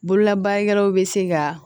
Bololabaarakɛlaw bɛ se ka